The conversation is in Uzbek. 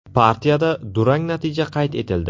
Partiyada durang natija qayd etildi.